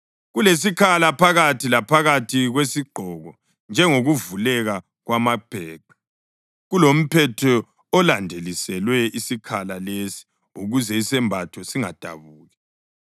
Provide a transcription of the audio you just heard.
kulesikhala phakathi laphakathi kwesigqoko njengokuvuleka kwamabheqe; kulomphetho olandeliselwe isikhala lesi ukuze isembatho singadabuki.